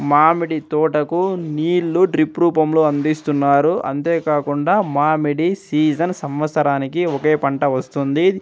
మామిడి తోటకు నీళ్లు డ్రిప్ రూపంలో అందిస్తున్నారు అంతే కాకుండా మామిడి సీజన్ సంవత్సరానికి ఒకే పంట వస్తుంది.